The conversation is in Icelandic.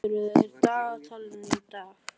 Laufheiður, hvað er í dagatalinu í dag?